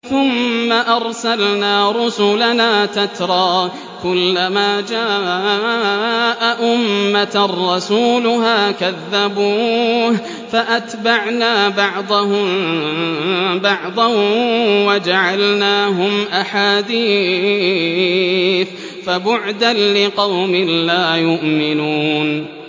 ثُمَّ أَرْسَلْنَا رُسُلَنَا تَتْرَىٰ ۖ كُلَّ مَا جَاءَ أُمَّةً رَّسُولُهَا كَذَّبُوهُ ۚ فَأَتْبَعْنَا بَعْضَهُم بَعْضًا وَجَعَلْنَاهُمْ أَحَادِيثَ ۚ فَبُعْدًا لِّقَوْمٍ لَّا يُؤْمِنُونَ